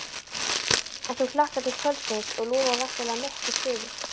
En þú hlakkar til kvöldsins og lofar væntanlega miklu stuði?